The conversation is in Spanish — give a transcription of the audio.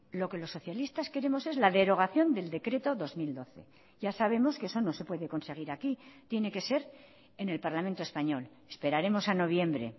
lo que los socialistas queremos es la derogación del decreto dos mil doce ya sabemos que eso no se puede conseguir aquí tiene que ser en el parlamento español esperaremos a noviembre